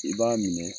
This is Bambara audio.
I b'a minɛ